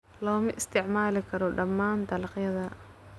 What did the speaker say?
Looma isticmaali karo dhammaan dalagyada.